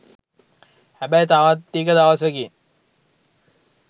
හැබැයි තවත් ටික දවසකින්